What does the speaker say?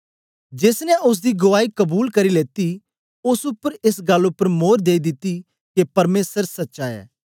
जेस ने ओसदी गुआई कबूल करी लेती ओस उपर एस गल्ल उपर मोर देई दिती के परमेसर सच्चा ऐ